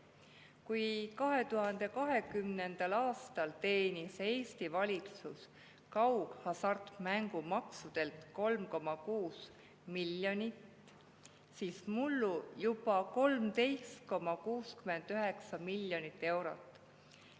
Kui 2020. aastal teenis Eesti valitsus kaughasartmängumaksult 3,6 miljonit, siis mullu juba 13,69 miljonit eurot.